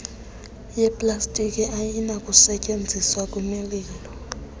yeplastiki ayinakusetyenziswa kwimililo